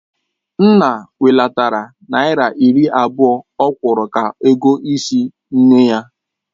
Nna welatara naira iri abụọ ọ kwuru ka ego ịsị nne ya.